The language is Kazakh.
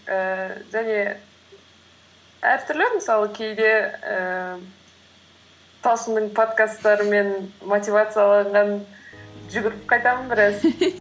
ііі және әртүрлі мысалы кейде ііі талшынның подкасттарымен мотивацияланған жүгіріп қайтамын біраз